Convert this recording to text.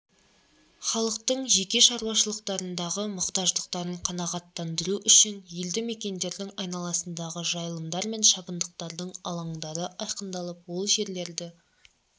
халықтың жеке шаруашылықтарындағы мұқтаждықтарын қанағаттандыру үшін елді мекендердің айналасындағы жайылымдар мен шабындықтардың алаңдары айқындалып ол жерлерді